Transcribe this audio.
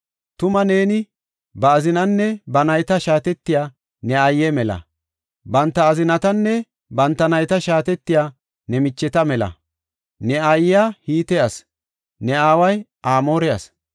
Tuma neeni ba azinaanne ba nayta shaatetiya ne aaye mela; banta azinatanne banta nayta shaatetiya ne micheta mela; ne aayiya Hite asi; ne aaway Amoore asi.